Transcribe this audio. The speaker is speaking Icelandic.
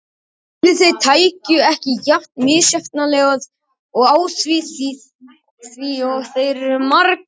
Ætli þeir tækju ekki jafn misjafnlega á því og þeir eru margir.